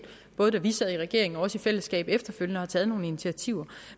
både da vi sad i regering og også i fællesskab efterfølgende har taget nogle initiativer